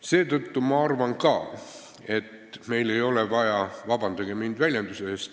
Seetõttu ma arvan ka, et meil ei ole vaja – vabandage mind väljenduse eest!